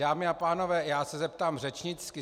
Dámy a pánové, já se zeptám řečnicky.